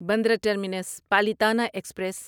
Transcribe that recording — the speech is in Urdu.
Bandra terminus Palitana express